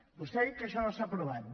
vostè ha dit que això no s’ha aprovat